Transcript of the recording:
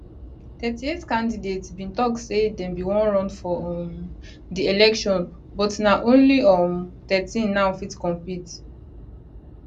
38 candidates bin tok say dem bin wan run for um di election but na only um thirteen now fit compete